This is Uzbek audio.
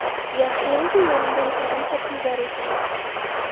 Yaxshiyamki, yonimda yetarlicha pul bor ekan.